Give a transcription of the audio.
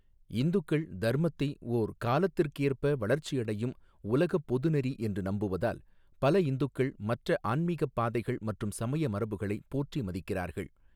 இந்துக்கள் தர்மத்தை ஓர் காலத்துக்கேற்ப வளர்ச்சியடையும் உலகப் பொது நெறி என்று நம்புவதால், பல இந்துக்கள் மற்ற ஆன்மிகப் பாதைகள் மற்றும் சமய மரபுகளையும் போற்றி மதிக்கிறார்கள்.